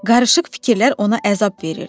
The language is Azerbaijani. Qarışıq fikirlər ona əzab verirdi.